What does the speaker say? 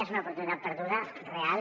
és una oportunitat perduda real